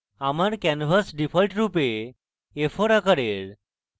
আমার canvas default রূপে a4 আকারের